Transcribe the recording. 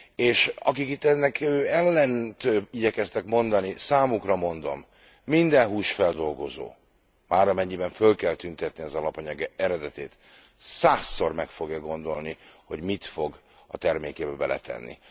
És akik itt ennek ellent igyekeztek mondani, számukra mondom, minden húsfeldolgozó már amennyiben föl kell tüntetni az alapanyag eredetét százszor meg fogja gondolni, hogy mit fog a termékébe beletenni.